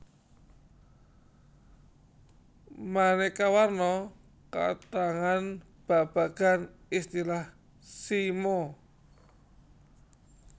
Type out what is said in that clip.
Maneka warna katrangan babagan istilan simo